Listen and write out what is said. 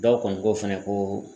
Dɔw kɔni ko fɛnɛ ko